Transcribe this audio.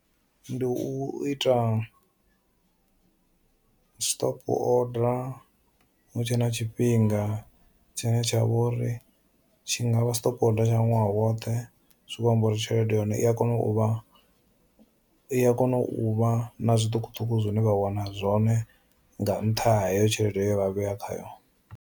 Ndi u ita stop order hu tshe na tshifhinga tshine tsha vhori tshi ngavha stop order tsha ṅwaha woṱhe zwi kho amba uri tshelede ya hone i a kona u vha i a kona u vha na zwiṱukuṱuku zwine vha wana zwone nga nṱha ha heyo tshelede ye vha vhea khayo.